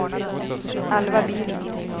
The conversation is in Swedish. Alva Bylund